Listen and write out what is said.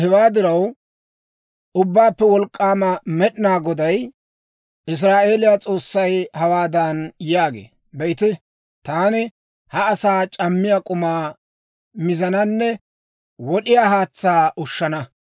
Hewaa diraw, Ubbaappe Wolk'k'aama Med'inaa Goday, Israa'eeliyaa S'oossay hawaadan yaagee; «Be'ite, taani ha asaa c'ammiyaa k'umaa miizaananne wod'iyaa haatsaa ushshana.